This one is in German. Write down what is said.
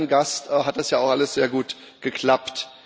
Bis auf einen Gast hat das ja auch alles sehr gut geklappt.